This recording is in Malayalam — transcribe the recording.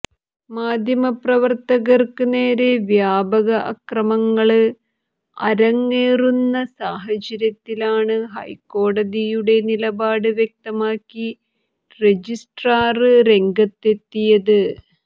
മാധ്യമപ്രവര്ത്തകര്ക്ക് നേരെ വ്യാപക അക്രമങ്ങള് അരങ്ങേറുന്ന സാഹചര്യത്തിലാണ് ഹൈക്കോടതിയുടെ നിലപാട് വ്യക്തമാക്കി രജിസ്ട്രാര് രംഗത്തെത്തിയത്